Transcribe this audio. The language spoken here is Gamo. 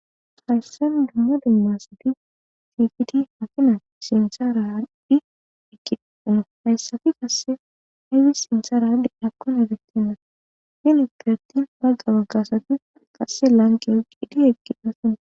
Hayssan dumma dummasati cfiti makina sintsa raadhi ikiina hayssafi qasse hayfis sintsa raadi akkon efetinna finu pirati bagga baggasati qasse lanqe eqidi eqqinda sona